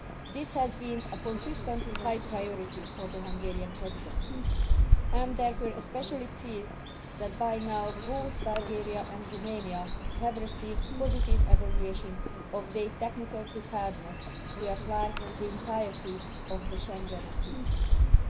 This has been a consistently high priority for the Hungarian Presidency. I am therefore especially pleased that by now, both Bulgaria and Romania have received positive evaluation of their technical preparedness to apply the entirety of the Schengen acquis.